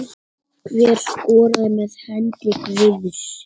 Hver skoraði með hendi guðs?